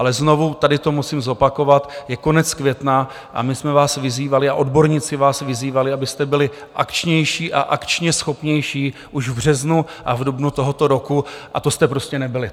Ale znovu tady to musím zopakovat, je konec května a my jsme vás vyzývali a odborníci vás vyzývali, abyste byli akčnější a akčně schopnější, už v březnu a v dubnu tohoto roku, a to jste prostě nebyli.